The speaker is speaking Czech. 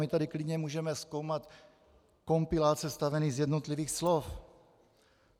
My tady klidně můžeme zkoumat kompilát sestavený z jednotlivých slov.